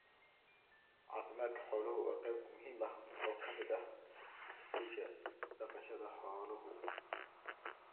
Caafimaadka xooluhu waa qayb muhiim ah oo ka mid ah guusha dhaqashada xooluhu.